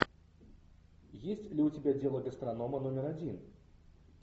есть ли у тебя дело гастронома номер один